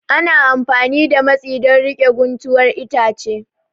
Ana amfani da matsi don riƙe guntuwar itace